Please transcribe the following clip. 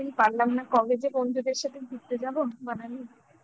college এর বন্ধুদের সাথে ঘুরতে যাব Manali